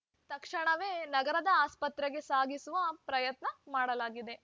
ತಕ್ಷಣವೇ ನಗರದ ಆಸ್ಪತ್ರೆಗೆ ಸಾಗಿಸುವ ಪ್ರಯತ್ನ ಮಾಡಲಾಗಿದೆ